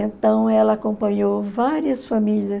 Então, ela acompanhou várias famílias.